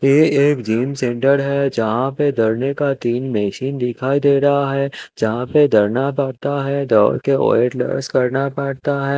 ये एक gym centre है जहा पे दोड़ने का तिन मशीन दिखाई दे रहा है जहा पे दोडना पड़ता है दोड के वेट लोस करना पड़ता है।